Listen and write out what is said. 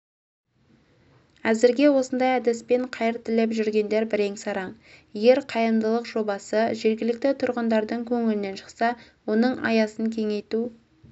әзірге осындай әдіспен қайыр тілеп жүргендер бірен-саран егер қайырымдылық жобасы жергілікті тұрғындардың көңілінен шықса оның аясынкеңейту